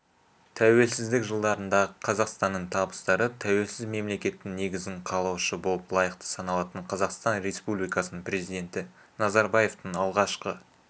тәуелсіздік жылдарындағы қазақстанның табыстары тәуелсіз мемлекеттің негізін қалаушы болып лайықты саналатын қазақстан республикасының президенті назарбаевтың алғашқы